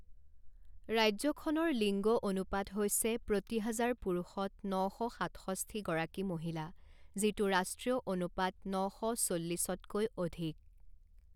ৰাজ্যখনৰ লিংগ অনুপাত হৈছে প্ৰতি হাজাৰ পুৰুষত ন শ সাতষষ্ঠি গৰাকী মহিলা, যিটো ৰাষ্ট্ৰীয় অনুপাত ন শ চল্লিছতকৈ অধিক।